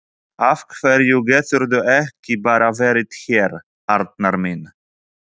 Af hverju geturðu ekki bara verið hér, Arnar minn?